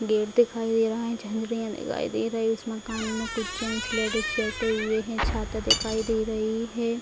Gate दिखाई दे रहा है झंझरियाँ दिखाई दे रहे इस मकान में कुछ जेंट्स लेडीज बैठे हुए है छाता दिखाई दे रही है ।